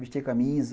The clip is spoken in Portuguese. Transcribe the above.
Vestir camisa.